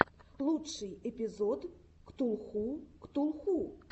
лучший эпизод ктулху ктулху